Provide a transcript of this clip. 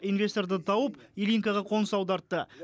инвесторды тауып ильинкаға қоныс аудартты